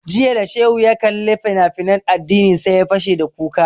Jiya da shehu ya kalli fina finan addini sai ya fashe da kuka